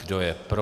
Kdo je pro?